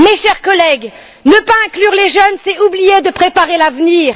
Chers collègues, ne pas inclure les jeunes, c'est oublier de préparer l'avenir.